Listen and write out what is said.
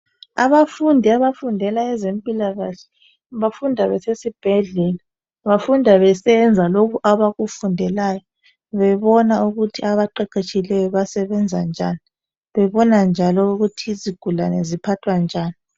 Abafundi abafundela ezempilakahle bafunda besesibhedlela. Bafunda besenza lokho abakufundelayo bebona ukuthi abaqeqeshileyo basebenza njani bebona njalo ukuthi izigulane ziphathwa njani.